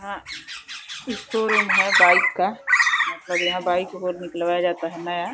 आ ई शोरूम है बाइक का। मतलब यहाँ बाइक वो निकलवाया जाता है नया।